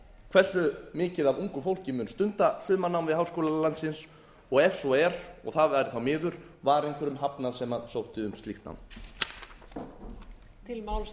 hversu mikið af ungu fólki mun stunda sumarnám við háskóla landsins og ef svo er og það væri þá miður var einhverjum hafnað sem sótti um slíkt nám